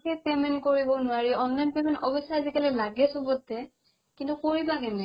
সেই payment কৰিব নোৱাৰি online payment অৱেশ্য লাগে চবতে কিন্তু কৰিবা কেনেকে